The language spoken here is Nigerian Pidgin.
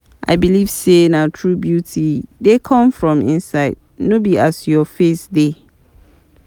I believe sey true beauty dey come from inside, no be as your face dey.